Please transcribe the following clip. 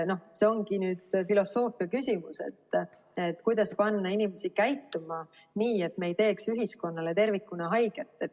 Noh, see ongi filosoofia küsimus, et kuidas panna inimesi käituma nii, et me ei teeks ühiskonnale tervikuna haiget.